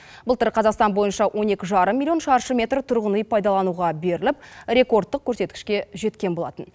былтыр қазақстан бойынша он екі жарым миллион шаршы метр тұрғын үй пайдалануға беріліп рекордтық көрсеткішке жеткен болатын